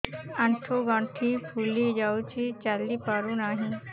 ଆଂଠୁ ଗଂଠି ଫୁଲି ଯାଉଛି ଚାଲି ପାରୁ ନାହିଁ